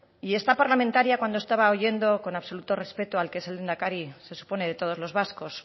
y esta parlamentaria cuando estaba oyendo con absoluto respeto al que es el lehendakari se supone de todos los vascos